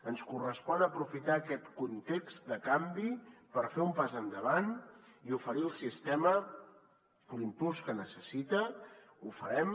ens correspon aprofitar aquest context de canvi per fer un pas endavant i oferir al sistema l’impuls que necessita ho farem